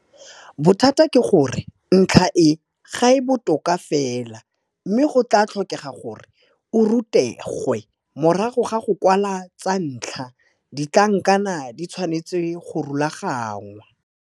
Bothata ke gore ntlha e ga e botoka fela mme go tla tlhokega gore o rutegwe. Morago ga go kwala tsa ntlha, ditlhankana di tshwanetswe go rulagangwa.